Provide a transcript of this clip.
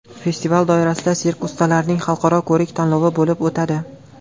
Festival doirasida sirk ustalarining Xalqaro ko‘rik-tanlovi bo‘lib o‘tadi.